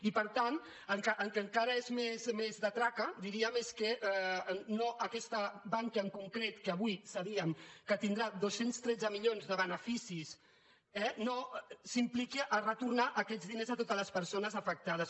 i per tant el que encara és més de traca diríem és que aquesta bankia en concret que avui sabíem que tindrà dos cents i tretze milions de benefici eh no s’impliqui a retornar aquests diners a totes les persones afectades